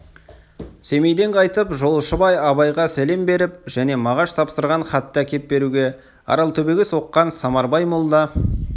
семейден қайтып жолшыбай абайға сәлем беріп және мағаш тапсырған хатты әкеп беруге аралтөбеге соққан самарбай молда